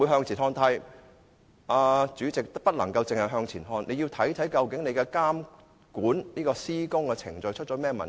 主席，港鐵公司不能只向前看，還要看看究竟監管施工的程序出了甚麼問題。